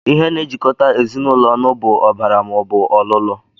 Ihe na-ejikọta ezinụlọ ọnụ bụ ọbara maọbụ ọlụlụ